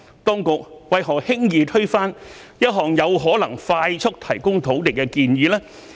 當局為何輕易推翻一項有可能快速提供土地的建議呢？